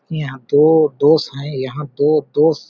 यहाँ दो दोस है यहाँ दो दोस --